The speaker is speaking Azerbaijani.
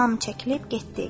Hamı çəkilib getdi.